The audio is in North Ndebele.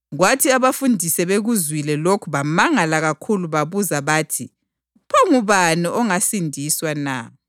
Njalo ngiyalitshela ukuthi kungaba lula ukuthi ikamela lingene embotsheni yenalithi kulokuthi umuntu onothileyo angene embusweni kaNkulunkulu.”